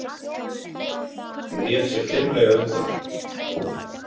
Hann vék sér fimlega undan.